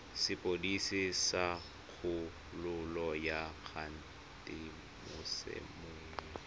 sepodisi sa kgololo ya kgatisomenwa